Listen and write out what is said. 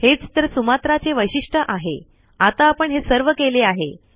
हेच तर सुमात्रा चे वैशिष्ट्य आहे आता आपण हे सर्व केले आहे